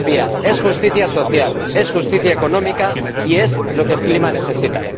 es utopía, es justicia social, es justicia económica, y es lo que el clima necesita.